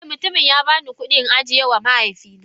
Eh, mutumin ya bani kudi in ajiyewa mahaifina